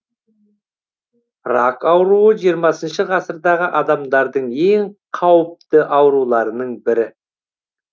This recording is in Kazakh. рак ауруы жиырмасыншы ғасырдағы адамдардың ең қауірпі ауруларының бірі